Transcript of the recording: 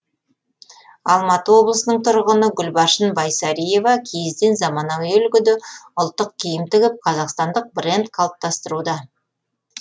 алматы облысының тұрғыны гүлбаршын байсариева киізден заманауи үлгіде ұлттық киім тігіп қазақстандық бренд қалыптастыруда